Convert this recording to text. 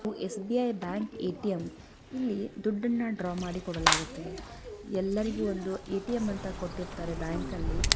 SBI. Bank ATM. ಇಲ್ಲಿ ದುಡ್ಡನ್ನ draw ಮಾಡಿ ಕೊಡಲಾಗುತ್ತೆ ಎಲ್ಲರಿಗೂ ಒಂದು ಎ.ಟಿ.ಎಂ. ಅಂತಾ ಕೊಟ್ಟಿರ್ತಾರೆ ಬ್ಯಾಂಕಲ್ಲಿ.